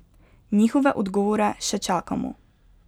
Njihove odgovore še čakamo.